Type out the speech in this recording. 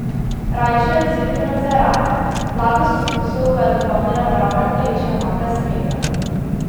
Rajželjc je bil nadvse rahel, blagost okusov pa je dopolnila naravna telečja omaka s smetano.